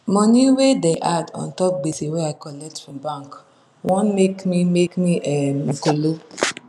money wey da add untop gbese wey i colet from bank wan make me make me um kolo